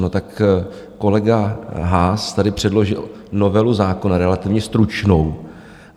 No tak kolega Haas tady předložil novelu zákona relativně stručnou.